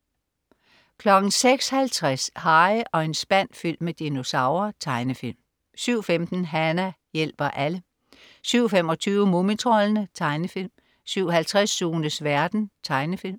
06.50 Harry og en spand fyldt med dinosaurer. Tegnefilm 07.15 Hana hjælper alle 07.25 Mumitroldene. Tegnefilm 07.50 Sunes verden. Tegnefilm